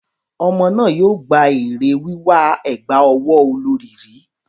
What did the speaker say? Ọmọ náà yóò gba èrè wíwà ẹ̀gbà ọwọ́ olorì rí.